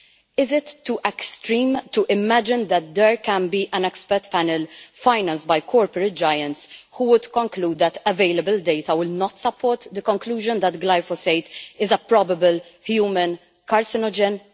Is it too extreme to imagine that there could be an expert panel, financed by corporate giants, who would conclude that available data will not support the conclusion that that glyphosate is a probable human carcinogen'?